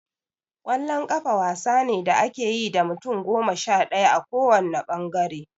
Ƙwallon ƙafa wasa ne da ake yi da mutum goma sha ɗaya a ko wanne ɓangare.